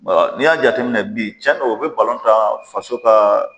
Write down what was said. N'i y'a jateminɛ bi tiɲɛndo o bɛ tan faso ka.